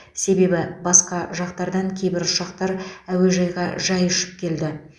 себебі басқа жақтардан кейбір ұшақтар әуежайға жай ұшып келді